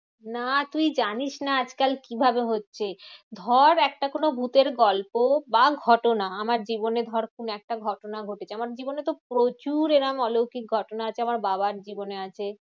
না তুই জানিস না আজকাল কিভাবে হচ্ছে? ধর একটা কোনো ভুতের গল্প বা ঘটনা আমার জীবনে ধর কোনো একটা ঘটনা ঘটেছে। আমার জীবনে তো প্রচুর এরকম অলৌকিক ঘটনা আছে। আমার বাবার জীবনে আছে।